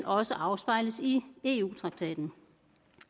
også afspejles i eu traktaten